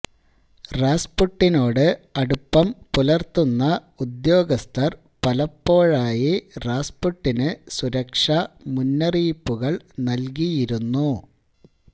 റാസ്പുട്ടിനോട് അടുപ്പം പുലർത്തുന്ന ഉദ്യോഗസ്ഥർ പലപ്പോഴായി റാസ്പുട്ടിന് സുരക്ഷാ മുന്നറിയിപ്പുകൾ നൽകിയിരുന്നു